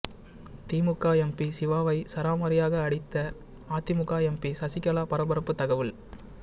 திமுக MP சிவாவை சரமாரியாக அடித்த அதிமுக எம்பி சசிகலா பரபரப்பு தகவல்